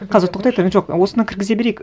қазір тоқтай тұр жоқ осыны кіргізе берейік